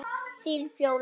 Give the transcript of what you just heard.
Þín, Fjóla.